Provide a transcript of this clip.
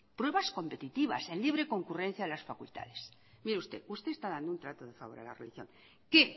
pruebas competitivas en libre concurrencia de las facultades mire usted usted está dando un trato de favor a la religión al que